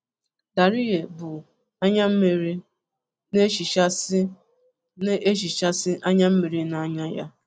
Dariye bù anyammiri, na-ehichasị na-ehichasị anyammiri n'anya ya.